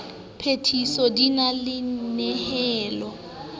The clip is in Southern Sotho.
phethiso di na le nyehelo